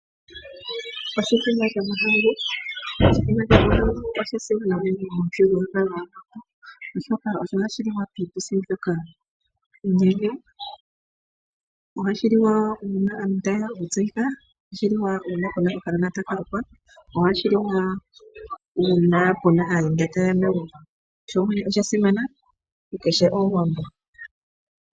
Oshithima sho mahangu, oshithima sho mahangu osha simana unene mo muthigululwakalo gwaawambo, oshoka osho hashi liwa piituthi mbyoka unene ngele aantu ta yeya oku tseyika nenge uuna okanona taka lukwa, ohashi liwa wo uuna pena aayenda taye ya megumbo, oshili sha simana ku kehe omuwambo.